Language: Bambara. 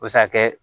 O bɛ se ka kɛ